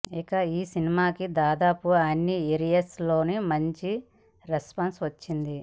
ఇక ఈ సినిమాకి దాదాపు అన్నీ ఏరియాస్ లో మంచి రెస్పాన్స్ వచ్చింది